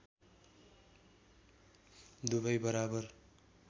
दुबै बराबर